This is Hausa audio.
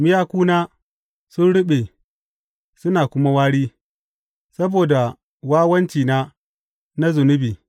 Miyakuna sun ruɓe suna kuma wari saboda wawancina na zunubi.